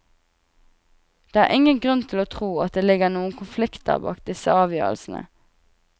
Det er ingen grunn til å tro at det ligger noen konflikter bak disse avgjørelsene.